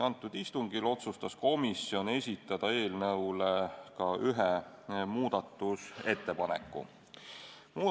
Sellel istungil otsustas komisjon esitada eelnõu kohta ka ühe muudatusettepaneku.